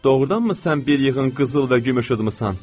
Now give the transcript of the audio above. Doğrudanmı sən bir yığın qızıl və gümüş udmusan?